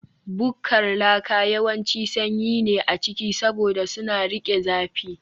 Bukkar laka yawanci sanyi ne a ciki, saboda suna riƙe zafi